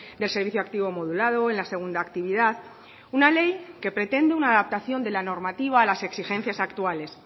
del servicio activo modulado en la segunda actividad una ley que pretende una adaptación de la normativa a las exigencias actuales